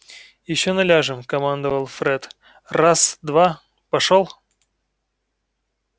ещё наляжем командовал фред раз два пошёл